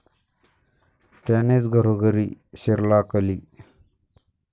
त्यानेच घरोघरी शिरला कली।